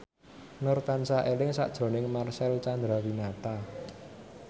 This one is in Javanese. Nur tansah eling sakjroning Marcel Chandrawinata